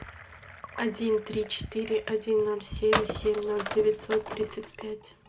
один три четыре один ноль семь семь ноль девятьсот тридцать пять